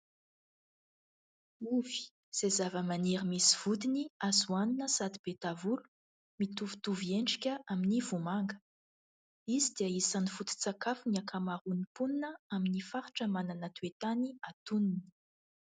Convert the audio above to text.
Ovy izay zavamaniry misy vodiny, azo hohanina sady be tavolo, mitovitovy endrika amin'ny vomanga, izy dia isan'ny foto-tsakafon'ny ankamaroan'ny mponina amin'ny faritra manana toetany atonony.